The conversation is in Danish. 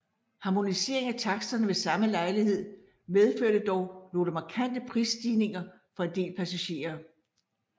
Harmoniseringen af taksterne ved samme lejlighed medførte dog nogle markante prisstigninger for en del passagerer